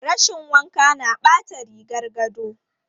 Rashin wanka na ɓata rigar gado.